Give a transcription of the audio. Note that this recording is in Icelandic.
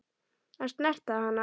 Að snerta hana.